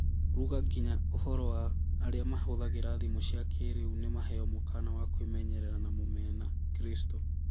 Ruga nginya ũhoro wa arĩa mahũthagĩra thimũ cia kĩĩrĩu nĩ maheo mũkaana wa kwĩmenyerera na Mũmena-Kristo